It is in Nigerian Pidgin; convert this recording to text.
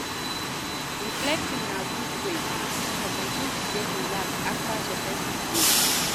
Reflecting na good wey for person to take relax after stressful day